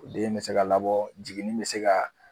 Den bɛ se ka labɔ jiginni bɛ se ka